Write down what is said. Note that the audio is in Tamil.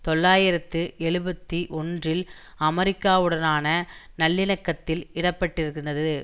தொள்ளாயிரத்து எழுபத்தி ஒன்றில் அமெரிக்காவுடனான நல்லிணக்கத்தில் இடப்பட்டிருந்தது